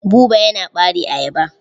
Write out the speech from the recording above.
Buba yana ɓare ayaba.